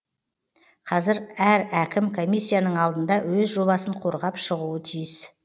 қазір әр әкім комиссияның алдында өз жобасын қорғап шығуы тиіс